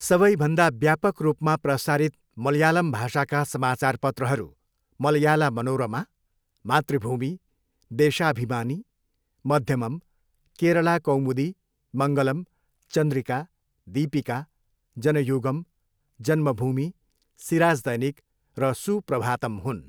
सबैभन्दा व्यापक रूपमा प्रसारित मलयालम भाषाका समाचारपत्रहरू मलयाला मनोरमा, मातृभूमि, देशाभिमानी, मध्यमम्, केरला कौमुदी, मङ्गलम्, चन्द्रिका, दीपिका, जनयुगम्, जन्मभूमि, सिराज दैनिक र सुप्रभातम् हुन्।